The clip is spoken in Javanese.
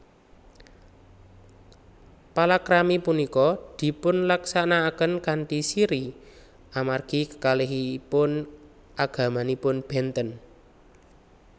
Palakrami punika dipunlaksanakaken kanthi sirri amargi kekalihipun agamanipun benten